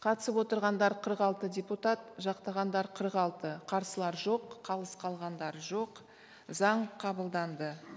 қатысып отырғандар қырық алты депутат жақтағандар қырық алты қарсылар жоқ қалыс қалғандар жоқ заң қабылданды